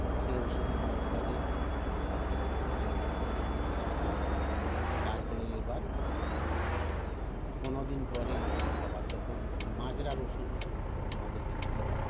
সে ওষুধ মারার পরে এ আবার এরকম নিয়ম অনুসারে থাকবে তারপরে এবার পনের দিন পরে আবার তখন মাজরার ওষুধ আমাদেরকে দিতে হয়